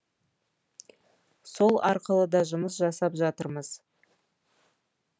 сол арқылы да жұмыс жасап жатырмыз